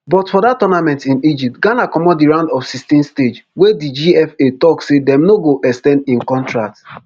but for dat tournament in egypt ghana comot di round of sixteen stage wey di gfa tok say dem no go ex ten d im contract